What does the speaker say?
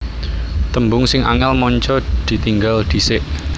Tembung sing angel manca ditinggal dhisik